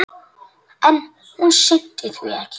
En hún sinnti því ekki.